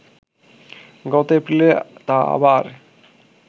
গত এপ্রিলে তা আবার